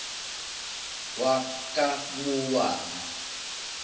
wakamowabi